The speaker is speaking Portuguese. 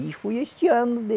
E fui este ano, de